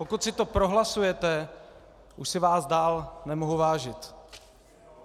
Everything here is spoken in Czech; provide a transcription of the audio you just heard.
Pokud si to prohlasujete, už si vás dál nemohu vážit.